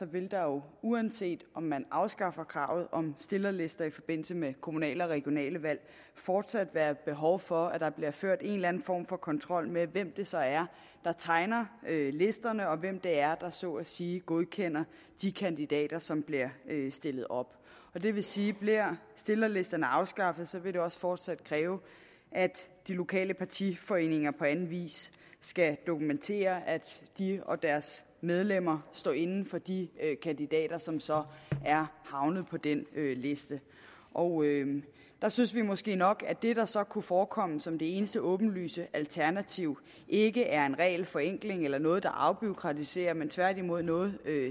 vil der jo uanset om man afskaffer kravet om stillerlister i forbindelse med kommunale og regionale valg fortsat være behov for at der bliver ført en eller anden form for kontrol med hvem det så er der tegner listerne og hvem det er der så at sige godkender de kandidater som bliver stillet op det vil sige at bliver stillerlisterne afskaffet vil det også fortsat kræve at de lokale partiforeninger på anden vis skal dokumentere at de og deres medlemmer står inde for de kandidater som så er havnet på den liste og der synes vi måske nok at det der så kunne forekomme som det eneste åbenlyse alternativ ikke er en regelforenkling eller noget der afbureaukratiserer men tværtimod noget